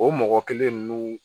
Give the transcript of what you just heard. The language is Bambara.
O mɔgɔ kelen ninnu